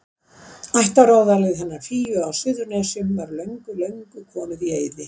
Ættaróðalið hennar Fíu á Suðurnesjum var fyrir löngu komið í eyði.